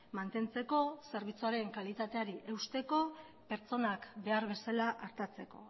mantentzeko zerbitzuaren kalitateari eusteko pertsonak behar bezala artatzeko